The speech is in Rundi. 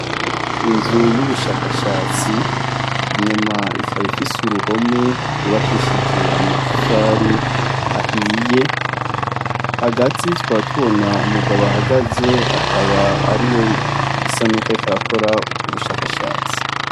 Inzu y'ubushakashatsi, inyuma ikaba ifise uruhome rwubakishije amatafari ahiye, hagati tukaba tubona umugabo ahagaze akaba ariwe bisa n'uko ariko arakora ubwo bushakashatsi.